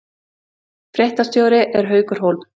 Fréttastjóri er Haukur Hólm